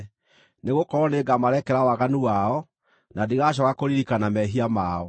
Nĩgũkorwo nĩngamarekera waganu wao, na ndigacooka kũririkana mehia mao.”